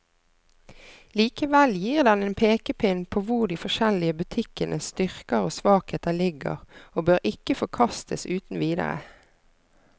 Likevel gir den en pekepinn på hvor de forskjellige butikkenes styrker og svakheter ligger, og bør ikke forkastes uten videre.